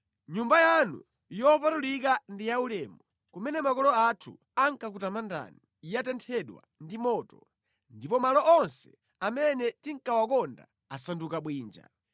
Nyumba yanu yopatulika ndi yaulemu, kumene makolo athu ankakutamandani, yatenthedwa ndi moto ndipo malo onse amene tinkawakonda asanduka bwinja.